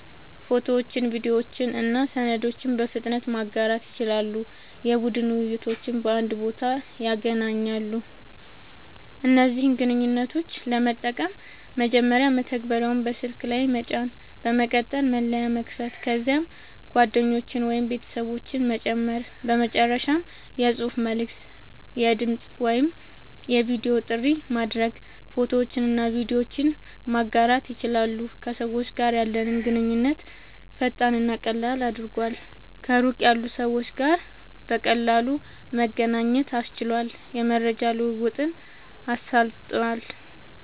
ፎቶዎችን፣ ቪዲዮዎችን እና ሰነዶችን በፍጥነት ማጋራት ይችላሉ። የቡድን ውይይቶችን በአንድ ቦታ ያገናኛሉ። እነዚህን ግንኙነቶች ለመጠቀም፦ መጀመሪያ መተግበሪያውን በስልክ ላይ መጫን፣ በመቀጠል መለያ መክፈት፣ ከዚያም ጓደኞችን ወይም ቤተሰቦችን መጨመር፣ በመጨረሻም የጽሑፍ መልዕክት፣ የድምጽ ወይም የቪዲዮ ጥሪ ማድረግ፣ ፎቶዎችንና ቪዲዮዎችን ማጋራት ይችላሉ። ከሰዎች ጋር ያለንን ግንኙነት ፈጣንና ቀላል አድርጓል፣ ከሩቅ ያሉ ሰዎች ጋር በቀላሉ መገናኘት አስችሏል፣ የመረጃ ልዉዉጥን አሳልጧል